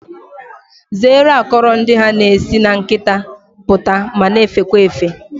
Zeere akọrọ ndị ha na-esi na nkịta pụta ma na-efekwa efe